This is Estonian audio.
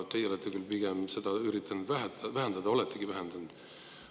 Teie olete küll pigem üritanud vähendada, oletegi vähendanud.